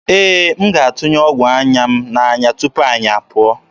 Ee, m ga-atụnye ọgwụ anya m n'anya tupu anyị apụọ.